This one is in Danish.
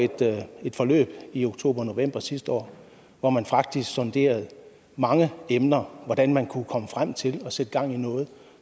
et forløb i oktober og november sidste år hvor man faktisk sonderede mange emner hvordan man kunne komme frem til at sætte gang i noget